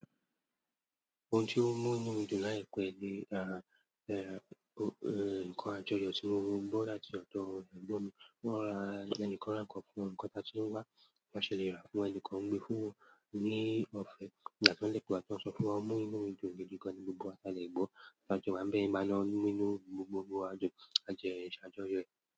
Ohun tí ó mú inu mi dun laipè ni nǹkan àjọyọ̀ tí mo gbo láti ọ̀dọ̀ ẹ̀gbọ́n mi. Wọ́n ra ẹnìkan ran kan fún wọn, nǹkan ta tí wọ́n wá, awon enikan gbe fún ẹni kan gbé fún wọn ní ọfẹ. Ìgbà kan de tun wa tí wọ́n sọ fun wa o mú inú mi dun gidi gan ní gbogbo wà ti à dẹ̀ gbó, taa jo wa ń bẹ yi ìmálo nínú gbogbo gbòò ajọ̀, a jẹ́ se ajoyo ẹ̀.